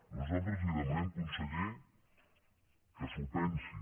nosaltres li demanem conseller que s’ho pensi